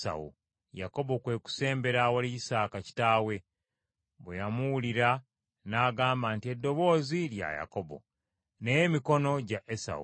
Yakobo kwe kusembera awali Isaaka kitaawe. Bwe yamuwulira n’agamba nti, “Eddoboozi lya Yakobo naye emikono gya Esawu.”